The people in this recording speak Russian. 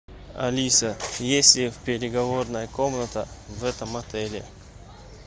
алиса есть ли переговорная комната в этом отеле